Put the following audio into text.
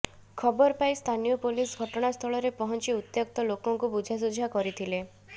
ଖବର ପାଇ ସ୍ଥାନୀୟ ପୋଲିସ ଘଟଣାସ୍ଥଳରେ ପହଞ୍ଚି ଉତ୍ତ୍ୟକ୍ତ ଲୋକଙ୍କୁ ବୁଝାସୁଝା କରିଥିଲେ